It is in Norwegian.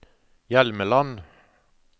Hjelmeland